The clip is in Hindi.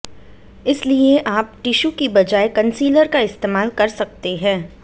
इसलिए आप टीशू की बजाय कंसीलर का इस्तेमाल कर सकते है